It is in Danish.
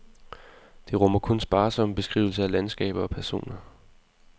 Det rummer kun sparsomme beskrivelser af landskaber og personer.